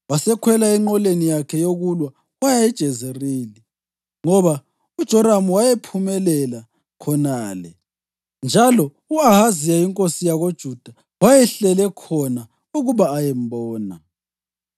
Wasekhwela enqoleni yakhe yokulwa waya eJezerili, ngoba uJoramu wayephumulela khonale njalo u-Ahaziya inkosi yakoJuda wayehlele khona ukuba ayembona.